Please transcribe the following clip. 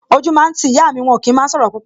O jú máa ń ti ìyá mi, wọn ò kí máa ń sọ̀rọ̀ púpọ̀